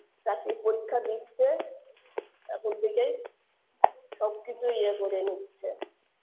চাকরির পরীক্ষা দিচ্ছে এখন থেকেই সবকিছু ইয়ে করে নিচ্ছে